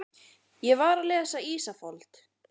Ég var að lesa Ísafold.